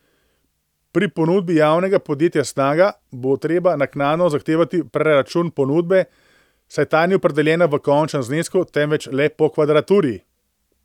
Pri ponudbi javnega podjetja Snaga bo treba naknadno zahtevati preračun ponudbe, saj ta ni opredeljena v končnem znesku, temveč le po kvadraturi.